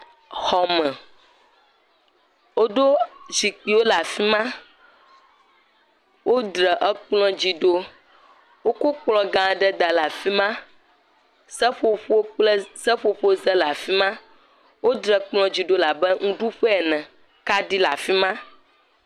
Anyinɔƒe xɔme si zikpuiwo dzeŋgɔwo nɔnɔewo ekplɔ le dodome nɛ nu vovovowo le ekplɔ dzi eye eseƒoƒo le eseƒoƒo gbame le xɔa me.